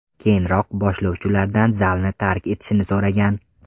Keyinroq boshlovchi ulardan zalni tark etishni so‘ragan.